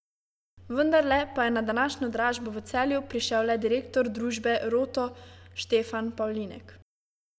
Vendarle pa je na današnjo dražbo v Celju prišel le direktor družbe Roto Štefan Pavlinjek.